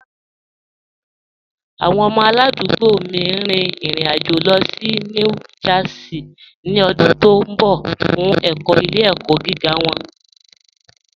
Awọn ọmọ aládùgbò mí n rìn ìrìn-àjọ̀ lọ sí New Jersey ni ọ̀dún tó nbọ̀ fun ẹkọ̀ ilẹ̀-ẹkọ̀ giga wọn